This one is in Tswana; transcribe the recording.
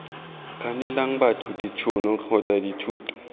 kganelang batho ditšhono kgotsa dithuso